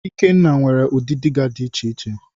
Ikenna nwere udi dịga di iche iche.